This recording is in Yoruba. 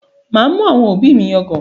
Màá mú àwọn òbí mi yangàn